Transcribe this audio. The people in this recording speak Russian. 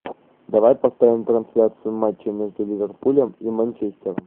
давай поставим трансляцию матча между ливерпулем и манчестером